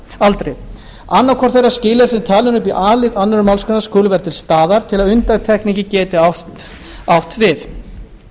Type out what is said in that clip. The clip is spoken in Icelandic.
annað hvort þeirra skilyrða sem talin eru upp í a lið annarrar málsgreinar skulu vera til staðar til að undantekningin geti átt við